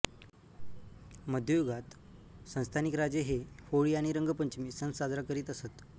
मध्ययुगात संस्थानिक राजे हे होळी आणि रंगपंचमी सण साजरा करीत असत